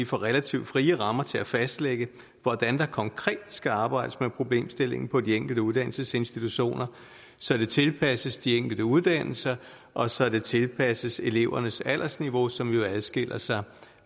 får relativt frie rammer til at fastlægge hvordan der konkret skal arbejdes med problemstillingen på de enkelte uddannelsesinstitutioner så det tilpasses de enkelte uddannelser og så det tilpasses elevernes aldersniveau som jo adskiller sig